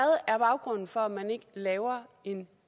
er baggrunden for at man ikke laver en